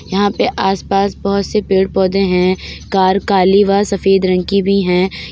यहाँ पे आसपास बहोत से पेड़ पौधे हैं| कार काली व सफेद रंग कि भी हैं।